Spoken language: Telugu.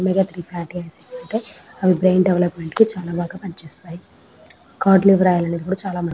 మిగితై అని అవి బ్రెయిన్ దేవోప్ల్మేంట్ కి చాలా బాగా పనిచేస్తాయి అది కూడా చాల --